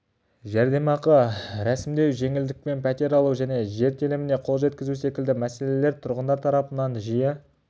жәрдемақы рәсімдеу жеңілдікпен пәтер алу және жер теліміне қол жеткізу секілді мәселелер тұрғындар тарапынан жиі